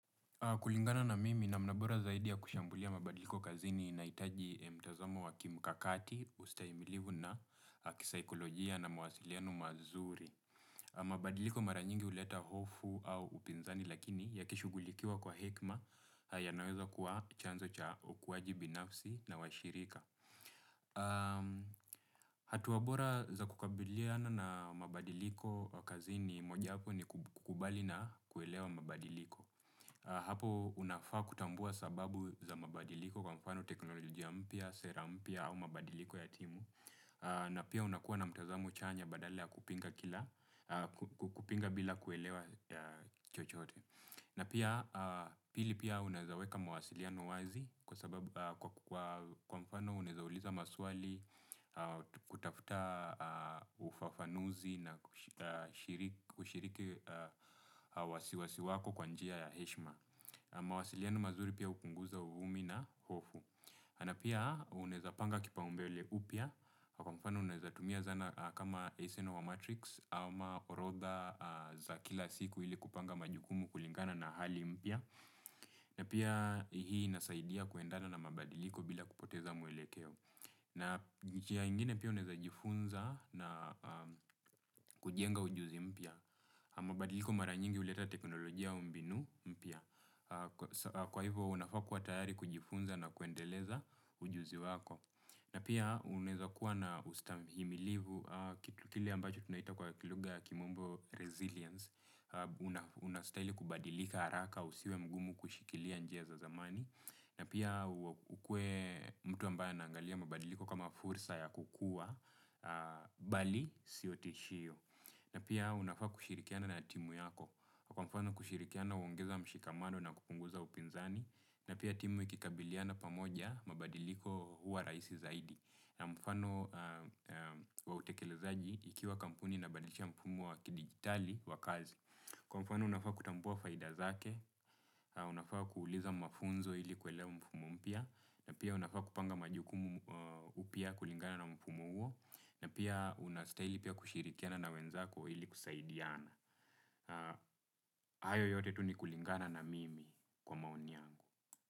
Kulingana na mimi namna bora zaidi ya kushambulia mabadiliko kazini inahiitaji mtazamo wa kimkakati, ustahimilivu na kisikolojia na mwasiliano mazuri. Mabadiliko mara nyingi huleta hofu au upinzani lakini ya kishughulikiwa kwa hekima ya naweza kuwa chanzo cha ukuwaji binafsi na washirika. Hatua bora za kukabiliana na mabadiliko kazini mojawapo ni kukubali na kuelewa mabadiliko. Hapo unafaa kutambua sababu za mabadiliko kwa mfano teknolojia mpya, sera mpya au mabadiliko ya timu, na pia unakuwa na mtazamo chanya badala ya kupinga bila kuelewa chochote. Na pia pili unaweza weka mawasiliano wazi kwa sababu, kwa mfano unaweza uliza maswali kutafuta ufafanuzi na kushiriki wasiwasi wako kwa njia ya heshima. Mawasiliano mazuri pia hupunguza uvumi na hofu. Na pia unaweza panga kipao mbele upya, kwa mfano unaweza tumia zana kama SNL Matrix, ama horodha za kila siku ili kupanga majukumu kulingana na hali mpia. Na pia hii inasaidia kuendana na mabadiliko bila kupoteza mwelekeo. Na njia nyingine pia unaweza jifunza na kujenga ujuzi mpya. Mabadiliko mara nyingi uleta teknolojia au mbinu mpy a. Kwa hivyo unafaa kuwa tayari kujifunza na kuendeleza ujuzi wako. Na pia uneza kuwa na ustamihimilivu kitu kile ambacho tunaita kwa kilugha ya kimombo resilience. Unastahili kubadilika haraka usiwe mgumu kushikilia njia za zamani. Na pia ukue mtu ambaya anaangalia mabadiliko kama fursa ya kukua bali sio tishio. Na pia unafaa kushirikiana na timu yako, kwa mfano kushirikiana uongeza mshikamano na kupunguza upinzani, na pia timu ikikabiliana pamoja mabadiliko huwa raisi zaidi, na mfano wautekelezaji ikiwa kampuni ina badilisha mfumu wa kidigitali wa kazi. Kwa mfano unafaa kutambua faida zake, unafaa kuuliza mafunzo ili kuelewa mfumo mpya, na pia unafaa kupanga majukumu upya kulingana na mfumo huo, na pia unastahili pia kushirikiana na wenzako ili kusaidiana. Hayo yote tu ni kulingana na mimi kwa maoni yangu.